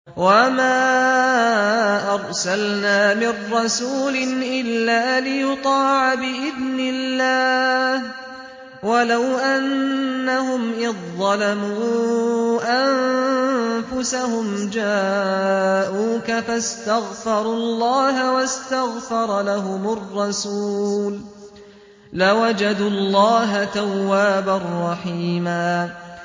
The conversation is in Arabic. وَمَا أَرْسَلْنَا مِن رَّسُولٍ إِلَّا لِيُطَاعَ بِإِذْنِ اللَّهِ ۚ وَلَوْ أَنَّهُمْ إِذ ظَّلَمُوا أَنفُسَهُمْ جَاءُوكَ فَاسْتَغْفَرُوا اللَّهَ وَاسْتَغْفَرَ لَهُمُ الرَّسُولُ لَوَجَدُوا اللَّهَ تَوَّابًا رَّحِيمًا